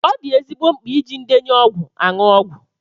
Ọ dị ezigbo mkpa iji ndenye ọgwụ aṅụ ọgwụ.